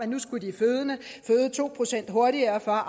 nu skulle føde to procent hurtigere for